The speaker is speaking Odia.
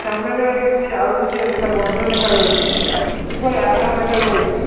ସାମ୍ନାରେ କିଛି ଆଉ କିଛି ଦେଖା ବନ୍ଧ ଦେଖାଯାଉଚି ଉପରେ ଆକାଶ ଦେଖାଯାଉଚି।